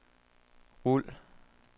rul